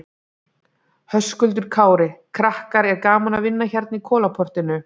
Höskuldur Kári: Krakkar, er gaman að vinna hérna í Kolaportinu?